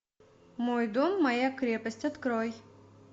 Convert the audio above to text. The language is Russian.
мой дом моя крепость открой